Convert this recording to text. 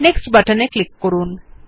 next বাটনে click করুন